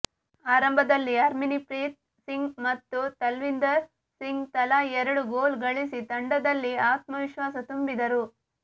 ಆರಂಭದಲ್ಲಿ ಹರ್ಮನ್ಪ್ರೀತ್ ಸಿಂಗ್ ಮತ್ತು ತಲ್ವಿಂದರ್ ಸಿಂಗ್ ತಲಾ ಎರಡು ಗೋಲು ಗಳಿಸಿ ತಂಡದಲ್ಲಿ ಆತ್ಮವಿಶ್ವಾಸ ತುಂಬಿದರು